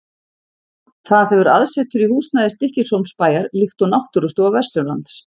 Það hefur aðsetur í húsnæði Stykkishólmsbæjar, líkt og Náttúrustofa Vesturlands.